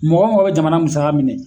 Mɔgɔ mɔgɔ be jamana musaka minɛ